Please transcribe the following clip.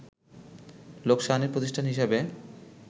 লোকসানী প্রতিষ্ঠান হিসেবে